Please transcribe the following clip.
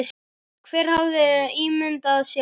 Hver hefði ímyndað sér það?